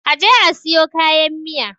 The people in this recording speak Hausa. a je a siyo kayan Miya!